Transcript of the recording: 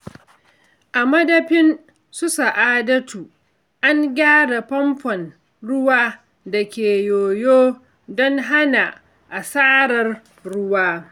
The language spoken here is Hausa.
A madafin su Sa’adatu, an gyara famfon ruwa da ke yoyo don hana asarar ruwa.